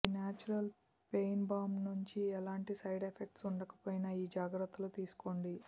ఈ natural pain balm నించి ఎలాంటి సైడ్ ఎఫెక్ట్స్ ఉండకపోయినా ఈ జాగ్రత్తలు తీసుకోండి